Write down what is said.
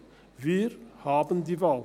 Wir haben die Wahl.